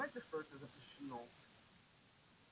вы понимаете что это запрещено